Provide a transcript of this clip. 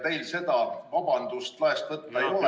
Teil seda vabandust laest võtta ei ole.